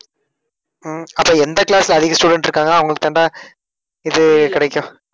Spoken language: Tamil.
உம் அப்ப எந்த class ல அதிக student இருக்காங்களா அவர்களுக்குத்தான்டா இது கிடைக்கும்